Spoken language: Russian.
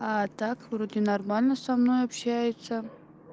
а так вроде нормально со мной общаются